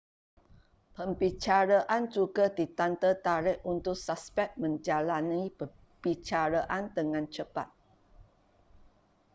perbicaraan juga ditanda tarikh untuk suspek menjalani perbicaraan dengan cepat